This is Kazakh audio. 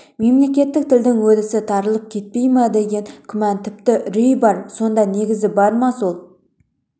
мемлекеттік тілдің өрісі тарылып кетпейді ма деген күмән тіпті үрей бар сонда негіз бар ма сол